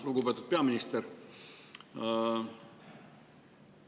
Lugupeetud peaminister!